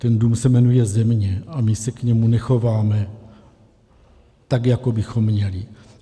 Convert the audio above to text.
Ten dům se jmenuje Země a my se k němu nechováme tak, jak bychom měli.